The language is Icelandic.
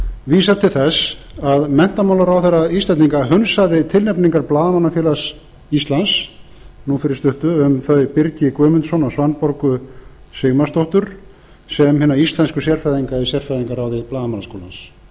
vísar til þess að menntamálaráðherra íslendinga hunsaði tilnefningar blaðamannafélags íslands nú fyrir stuttu um þau birgi guðmundsson og svanborgu sigmarsdóttur sem hina íslensku sérfræðinga í sérfræðingaráði blaðamannaskólans